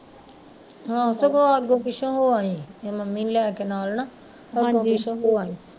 ਆਹੋ ਸਗੋਂ ਅੱਗੋਂ ਪਿੱਛੋਂ ਹੋ ਆਈ ਨਹੀਂ ਮੰਮੀ ਨੂੰ ਲੈ ਕੇ ਨਾਲ਼ ਨਾ ਅੱਗੋਂ ਪਿੱਛੋਂ ਹੋ ਆਈ